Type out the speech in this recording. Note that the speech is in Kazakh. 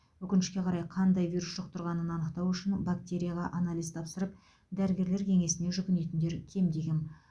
өкінішке қарай қандай вирус жұқтырғанын анықтау үшін бактерияға анализ тапсырып дәрігерлер кеңесіне жүгінетіндер кемде кем